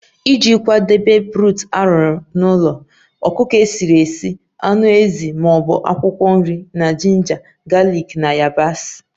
Iji kwadebe broth arụrụ n'ụlọ, ọkụkọ esi nri, anụ ezi ma ọ bụ akwụkwọ nri na jinja, galiki na yabasị